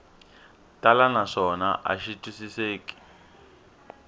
tala naswona a xi twisiseki